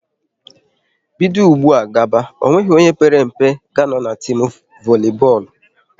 Bido ụgbụa gaba, ọ nweghị onye père mpe ga a nọ n'timu voli bọọlụ!